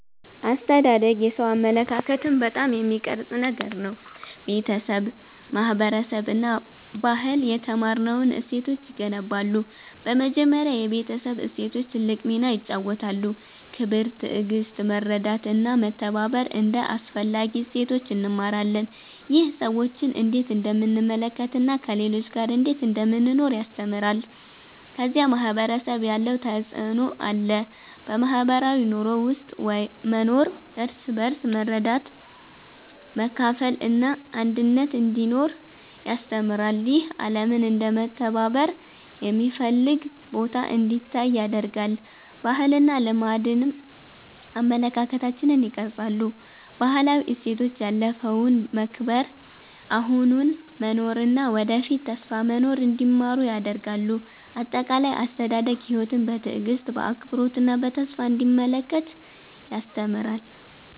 አስተዳደግ የሰው አመለካከትን በጣም የሚቀርጽ ነገር ነው። ቤተሰብ፣ ማህበረሰብ እና ባህል የተማርነውን እሴቶች ይገነባሉ። በመጀመሪያ የቤተሰብ እሴቶች ትልቅ ሚና ይጫወታሉ። ክብር፣ ትዕግሥት፣ መርዳት እና መተባበር እንደ አስፈላጊ እሴቶች እንማራለን። ይህ ሰዎችን እንዴት እንደምንመለከት እና ከሌሎች ጋር እንዴት እንደምንኖር ያስተምራል። ከዚያ ማህበረሰብ ያለው ተፅዕኖ አለ። በማህበራዊ ኑሮ ውስጥ መኖር እርስ በርስ መርዳት፣ መካፈል እና አንድነት እንዲኖር ያስተምራል። ይህ ዓለምን እንደ መተባበር የሚፈልግ ቦታ እንዲታይ ያደርጋል። ባህልና ልማድም አመለካከታችንን ይቀርጻሉ። ባህላዊ እሴቶች ያለፈውን መከብር፣ አሁኑን መኖር እና ወደፊት ተስፋ መኖር እንዲማሩ ያደርጋሉ። አጠቃላይ፣ አስተዳደግ ሕይወትን በትዕግሥት፣ በአክብሮት እና በተስፋ እንዲመለከት ያስተምራል።